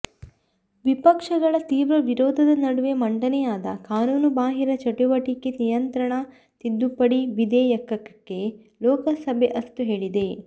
ವಿಪಕ್ಷಗಳ ತೀವ್ರ ವಿರೋಧದ ನಡುವೆ ಮಂಡನೆಯಾದ ಕಾನೂನುಬಾಹಿರ ಚುಟುವಟಿಕೆ ನಿಯಂತ್ರಣ ತಿದ್ದುಪಡಿ ವಿದೇಯಕಕ್ಕೆ ಲೋಕಸಭೆ ಅಸ್ತು ಹೇಳಿದೆ